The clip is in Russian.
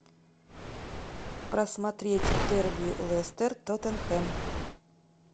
просмотреть дерби лестер тоттенхэм